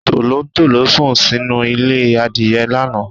Tòlótòló sùn sínú ilé Adìyẹ lánàá.